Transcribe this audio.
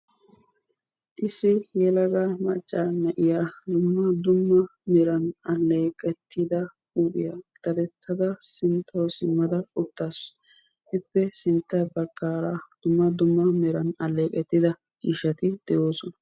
Issi yelaga macca na'iya dumma dumma meran aleeqetida huuphiya daddetada sinttawu simmada uttasu; ippe sinttaa baggara dumma dumma meran aleeqetida ciishshati de'oosona.